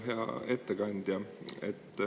Hea ettekandja!